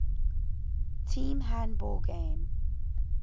team handball game